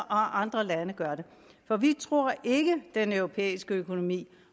andre lande gør det for vi tror ikke at den europæiske økonomi